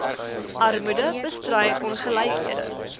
armoede bestry ongelykhede